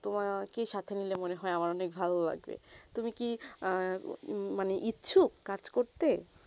তোমাকে কে সাথে নিলে আমার মনে হয়ে অনেক ভালো লাগবে তুমি কি ই মানে ইচ্ছুক কাজ করতে